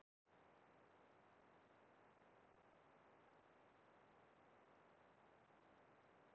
skordýr komu fram nokkuð fyrr í þróunarsögu jarðar en fyrstu skriðdýrin